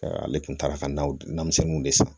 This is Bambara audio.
Ale kun taara ka na denmisɛnninw de san